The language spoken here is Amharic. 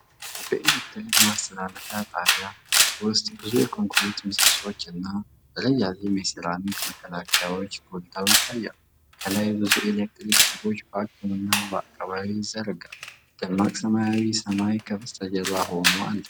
በኤሌክትሪክ ማስተላለፊያ ጣቢያ ውስጥ ብዙ የኮንክሪት ምሰሶዎች እና ረዣዥም የሴራሚክ መከላከያዎች ጎልተው ይታያሉ። ከላይ ብዙ የኤሌክትሪክ ሽቦዎች በአግድም እና በአቀባዊ ይዘረጋሉ። ደማቅ ሰማያዊ ሰማይ ከበስተጀርባ ሆኖ አሉ።